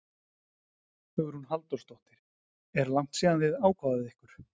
Hugrún Halldórsdóttir: Er langt síðan þið ákváðuð ykkur?